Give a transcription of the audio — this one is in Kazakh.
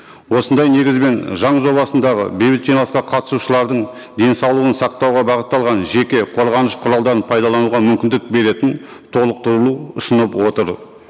осындай негізбен заң жобасындағы бейбіт жиналысқа қатысушылардың денсаулығын сақтауға бағытталған жеке қорғаныш құралдарын пайдалануға мүмкіндік беретін толықтырылу ұсынып отыр